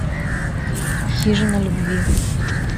хижина любви